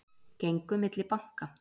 Gengu milli banka